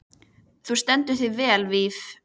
Þú stendur þig vel, Víf!